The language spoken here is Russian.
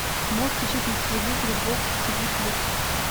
можешь включить на телевизоре бокс ти ви плюс